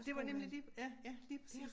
Det var nemlig lige ja ja lige præcis